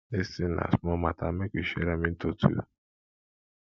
dis thing na small matter make we share am into two